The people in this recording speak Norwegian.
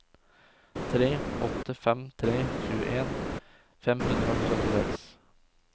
tre åtte fem tre tjueen fem hundre og syttiseks